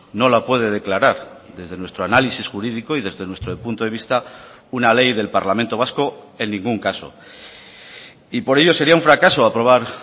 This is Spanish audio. no la puede declarar desde nuestro análisis jurídico y desde nuestro punto de vista una ley del parlamento vasco en ningún caso y por ello sería un fracaso aprobar